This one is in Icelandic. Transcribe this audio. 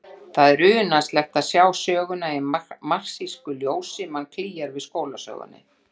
Það er unaðslegt að sjá söguna í marxísku ljósi, mann klígjar við skólasögunni.